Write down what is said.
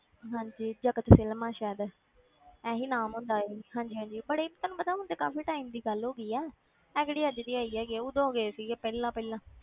ਹਾਂਜੀ ਜਗਤ films ਸ਼ਾਇਦ ਇਹੀ ਨਾਮ ਹੁੰਦਾ ਸੀ ਹਾਂਜੀ ਹਾਂਜੀ but ਇਹ ਤੁਹਾਨੂੰ ਪਤਾ ਹੁਣ ਤੇ ਕਾਫ਼ੀ time ਦੀ ਗੱਲ ਹੋ ਗਈ ਹੈ, ਇਹ ਕਿਹੜੀ ਅੱਜ ਦੀ ਆਈ ਹੈਗੀ ਹੈ ਉਦੋਂ ਗਏ ਸੀਗੇ ਪਹਿਲਾਂ ਪਹਿਲਾਂ